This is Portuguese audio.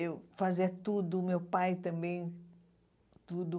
Eu fazia tudo, meu pai também, tudo.